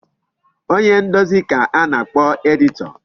Onye ndezi ka a na-akpọ editor.